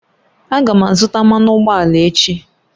Aga m azụta mmanụ ụgbọala echi